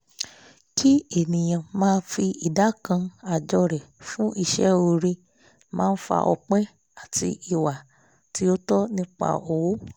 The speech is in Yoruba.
kí ènìyàn máa fi ìdá kan àjọ rẹ̀ fún iṣẹ́ òré máa fa ọpẹ́ àti ìwà tí ó tọ́ nípa owó